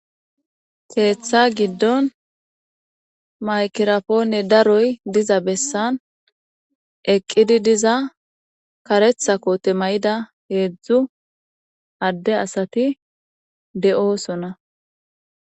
Keeththa giddon maykirapoone daroy diza bessan eqqidi diza karetha koote may7ida heedzdzu adde asati de7oosona.